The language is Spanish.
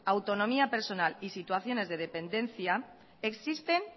autonomía personal y situaciones de dependencia existen